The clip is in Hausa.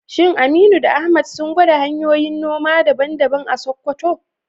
Shin Aminu da Ahmad sun gwada hanyoyin noma daban-daban a Sakkwato?